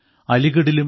അലിഗഢിലും